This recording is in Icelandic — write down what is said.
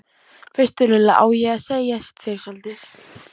veistu Lulla, á ég að segja þér soldið?